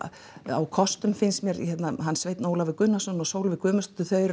á kostum finnst mér hann Sveinn Ólafur Gunnarsson og Sólveig Guðmundsdóttir þau eru